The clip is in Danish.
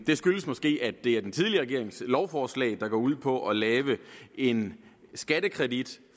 det skyldes måske at det er den tidligere regerings lovforslag der går ud på at lave en skattekredit